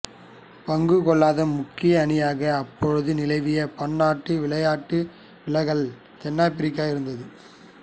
பங்குகொள்ளாத முக்கிய அணியாக அப்போது நிலவிய பன்னாட்டு விளையாட்டு விலக்கலால் தென்னாபிரிக்கா இருந்தது